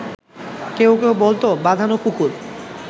কেউ কেউ বলত বাঁধানো পুকুর